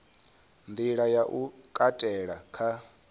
nḓila ya u katela kha